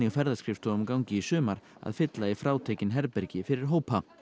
ferðaskrifstofum gangi í sumar að fylla í frátekin herbergi fyrir hópa